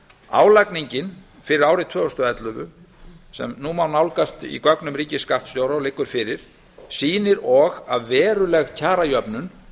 álagningin fyrir árið tvö þúsund og ellefu sem nú má nálgast í gögnum ríkisskattstjóra og liggur fyrir sýnir og að veruleg kjarajöfnun